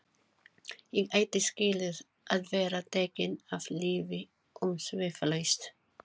Ég ætti skilið að vera tekinn af lífi umsvifalaust.